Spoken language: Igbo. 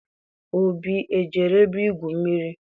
Obi ejere ebe igwu mmiri?